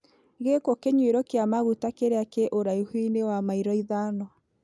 Gĩkũ kĩnyuĩro kĩa maguta kĩrĩa kĩ ũraihu-inĩ wa mairo ithano?